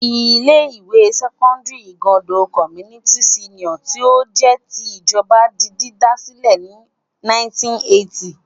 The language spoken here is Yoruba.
Ilé-ìwé sẹ́kọ́ndárì Igando Community Senior tí ó jẹ́ ti ìjọba di dídá sílẹ̀ ní 1980.